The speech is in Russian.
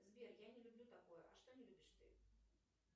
сбер я не люблю такое а что не любишь ты